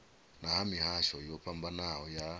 ha mihasho yo fhambanaho ya